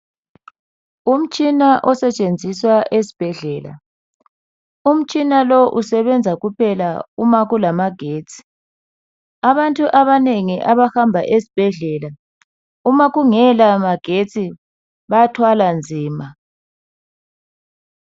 Umtshina osetshenziswa ezibhedlela umtshina lo usebenza kuphela umakulamagetsi abantu abaningi abahamba ezibhedlela uma kungelama getsi bathwala nzima.